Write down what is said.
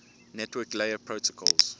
network layer protocols